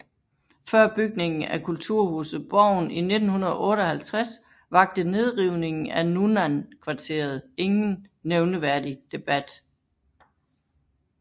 Før bygningen af kulturhuset Borgen i 1958 vakte nedrivningen af Nunnan kvarteret ingen nævneværdig debat